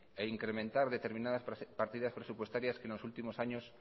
e incrementar determinadas partidas presupuestarias que en los últimos años